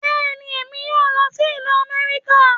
Bẹ́ẹ̀ni, èmi yóò lọ sí ìlú Amẹ́ríkà